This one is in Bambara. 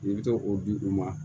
I bɛ to o di u ma